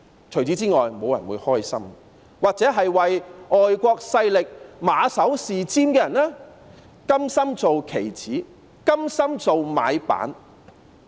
除此之外，沒有人會感到開心，又或唯外國勢力馬首是瞻的人，甘心成為棋子，甘心做"買辦"。